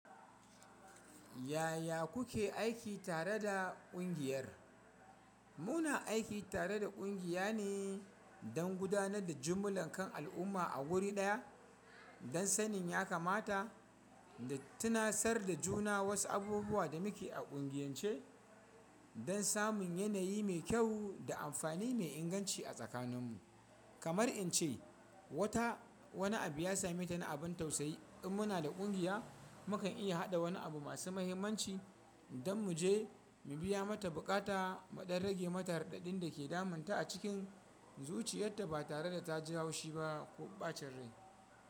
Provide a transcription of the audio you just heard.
Yaya kuke aiki tare da kungiyar? Muna aiki tare da kungiya ne don gudanar da jimllar kan al'umma a wuri ɗaya don sanin ya kamata da tunasar da juna wasu abubuwa da muke a ƙungiyance don samun yanayi mai kyau da amfani me inganci a tsakaninmu. Kamar in ce, wata wani abu ya same ta na abin tausayi. In muna da kungiya, mu kan iya haɗa wani abu masu mahimmanci don mu je mu biya mata buƙata, mu dan rage mata raɗaɗin da ke damun ta a cikin zuciyarta ba tare da ta ji haushi ba ko ɓacin rai.